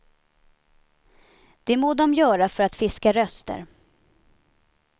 Det må de göra för att fiska röster.